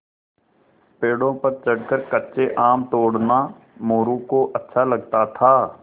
पेड़ों पर चढ़कर कच्चे आम तोड़ना मोरू को अच्छा लगता था